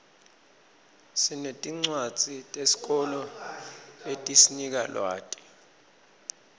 sinetincwadzi tesikolo letisinika lwati